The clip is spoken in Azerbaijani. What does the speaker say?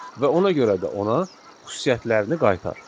Və ona görə də ona xüsusiyyətlərini qaytar.